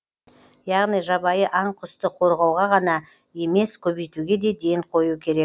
яғни жабайы аң құсты қорғауға ғана емес көбейтуге де ден қою керек